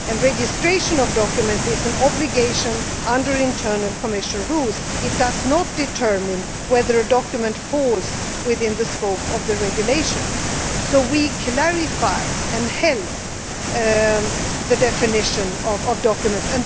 The registration of documents is an obligation under internal Commission rules, but these do not determine whether a document falls within the scope of the regulation. So we clarified and helped with the definition of documents.